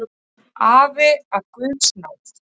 Afi af guðs náð.